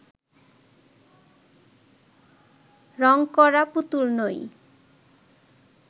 রং করা পুতুল নই